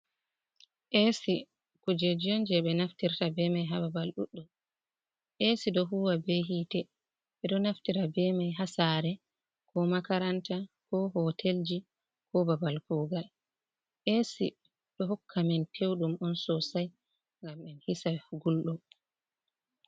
Ac kujeji on je ɓe naftirta beman ha babal ɗuɗɗum, a ɗo huwa be hitte ɓeɗo naftira be man ha sare, ko makaranta, ko hotelji ko babal kugal, ac ɗo hokamen pewɗum on sosai ngam en hisa gulɗum.